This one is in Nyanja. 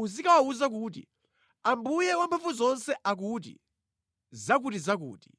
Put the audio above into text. uzikawawuza kuti, Ambuye Wamphamvuzonse akuti zakutizakuti.”